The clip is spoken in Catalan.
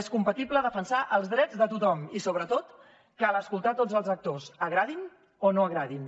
és compatible defensar els drets de tothom i sobretot cal escoltar tots els actors agradin o no agradin